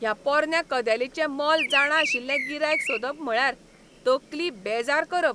ह्या पोरन्या कदेलींचें मोल जाणां अशिल्लें गिरायक सोदप म्हळ्यार तकली बेजार करप.